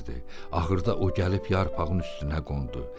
Axırda o gəlib yarpağın üstünə qondu.